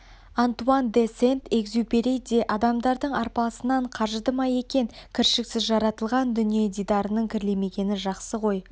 антуан де сент-экзюпери де адамдардың арпалысынан қажыды ма екен кіршіксіз жаратылған дүние дидарының кірлемегені жақсы ғой